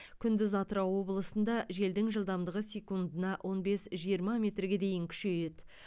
күндіз атырау облысында желдің жылдамдығы секундына он бес жиырма метрге дейін күшейеді